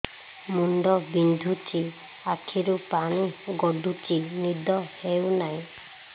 ମୁଣ୍ଡ ବିନ୍ଧୁଛି ଆଖିରୁ ପାଣି ଗଡୁଛି ନିଦ ହେଉନାହିଁ